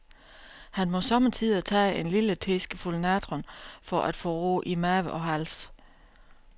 Han må sommetider tage en lille teskefuld natron for at få ro i mave og hals.